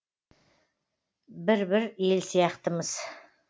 бір бір ел сияқтымыз